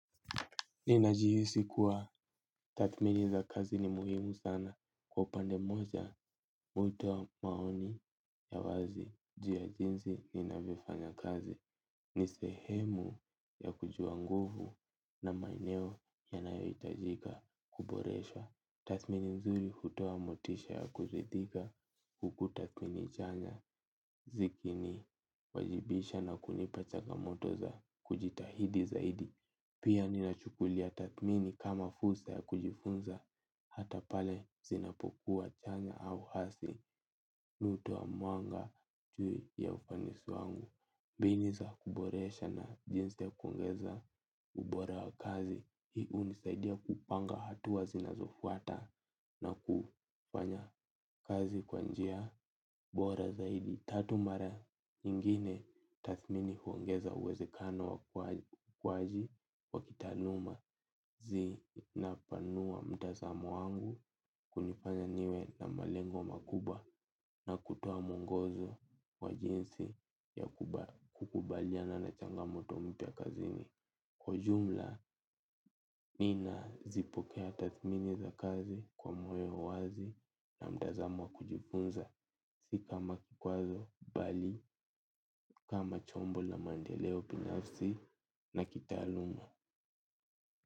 Ninajihisi kuwa tathmini za kazi ni muhimu sana kwa upande mmoja, mwito wa maoni ya wazi jinsi ninavyofanya kazi ni sehemu ya kujua nguvu na maeneo yanayohitaji kuboreshwa. Tathmini nzuri hutoa motisha ya kuridhika, huku tathmini chanya zikinijenga na kunipa changamoto za kujitahidi zaidi. Pia, ninachukulia tathmini kama fursa ya kujifunza, hata pale zinapokuwa chanya au hasi. Mimi hutoa mwanga juu ya ufanisi wangu. Mbinu za kuboresha na jinsi ya kuongeza. Ubora wa kazi hii unisaidia kupanga hatua zinazofuata. Na kufanya kazi kwa njia bora zaidi. Tathmini nyingine huongeza uwezekano wa kujua. Wa kitaaluma zinapanua mtazamo wangu. Kunifanya niwe na malengo makubwa. Na kutoa mwongozo wa jinsi ya kukabiliana na changamoto mpya kazini. Kwa ujumla, ninazipokea tathmini za kazi kwa moyo wazi na mtazamo wa kujifunza. Si kama kikwazo, bali kama chombo la maendeleo binafsi na kitaaluma.